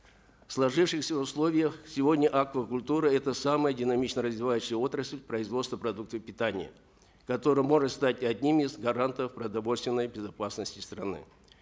в сложившихся условиях сегодня аквакультура это самая динамично развивающаяся отрасль производства продуктов питания которая может стать одним из гарантов продовольственной безопасности страны